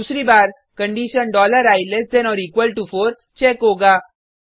दूसरी बार condition i less than or equal to 4 check होगा